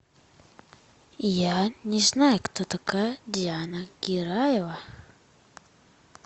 я не знаю кто такая диана гираева